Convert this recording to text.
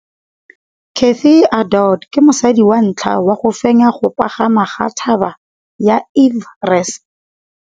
Cathy Odowd ke mosadi wa ntlha wa go fenya go pagama ga Mt Everest.